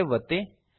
save ಒತ್ತಿ